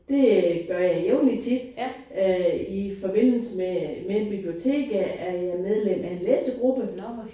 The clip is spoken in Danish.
Det gør jeg jævnligt tit øh i forbindelse med med biblioteket er jeg medlem af en læsegruppe